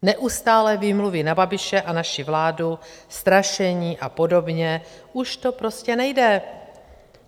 Neustálé výmluvy na Babiše a naši vládu, strašení a podobně - už to prostě nejde.